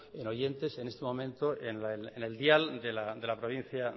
en oyentes en este momento en el dial de la provincia